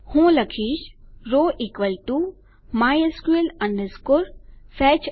હું લખીશ row mysql fetch associative